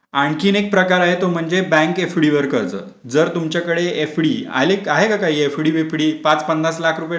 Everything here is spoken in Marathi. आणखीन एक प्रकार आहे तो म्हणजे बँक एफडीवर कर्ज जर तुमच्याकडे एफडी आहे काय तुमच्याकडे काही एफडी वगरे पाच पन्नास लाख टाकलेत काय.